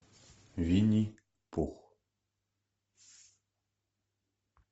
винни пух